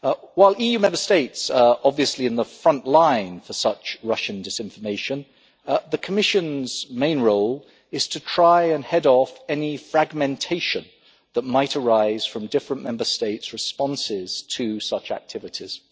While EU Member States are obviously in the front line for such Russian disinformation, the Commission's main role is to try and head off any fragmentation that might arise from differing Member State responses to such activities.